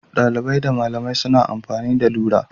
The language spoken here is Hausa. Dalibai da malamai suna amfani da rula